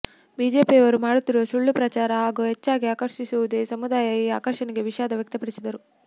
ಬಿಜೆಪಿಯವರು ಮಾಡುತ್ತಿರುವ ಸುಳ್ಳು ಪ್ರಚಾರ ಹಾಗೂ ಹೆಚ್ಚಾಗಿ ಆಕರ್ಷಿಸುತ್ತಿದೆಯುವ ಸಮುದಾಯ ಈ ಆಕರ್ಷಣೆಗೆ ವಿಷಾದ ವ್ಯಕ್ತಪಡಿಸಿದರು